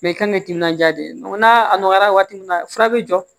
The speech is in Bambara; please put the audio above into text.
i kan ka ni timinandiya de ye n'a nɔgɔyara waati min na fura bɛ jɔ